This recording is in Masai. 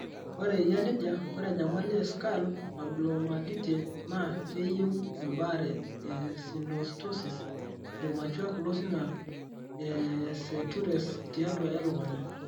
Ore eyia nejia, ore enyamali e skull abnormalitie naa keyieu embaare e synostosis (premature closing e sutures tiatua e lukunya).